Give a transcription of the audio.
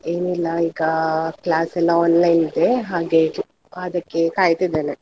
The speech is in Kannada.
ಏನಿಲ್ಲ ಈಗಾ class ಎಲ್ಲ online ಇದೆ ಹಾಗೆ ಅದಕ್ಕೆ ಕಾಯ್ತಿದ್ದೇನೆ.